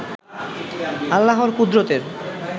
আল্লাহর কুদরতের